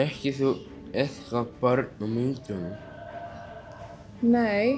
þekkirðu börnin á myndunum nei